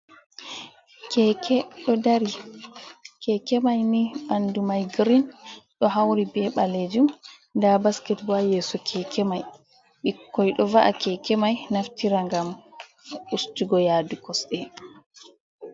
Keeke ɗo dari, keekemay ni ɓanndu may girin, ɗo hawri bee ɓaleejum. Nda basket boo haa yeeso keeke may, ɓikkoy ɗo va’a keekemay naftira ngam ustugo yaadu kosɗe.